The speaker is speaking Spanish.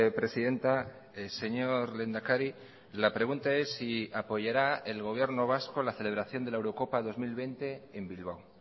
presidenta señor lehendakari la pregunta es si apoyará el gobierno vasco la celebración de la eurocopa dos mil veinte en bilbao